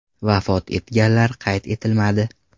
Vafot etganlar qayd etilmadi.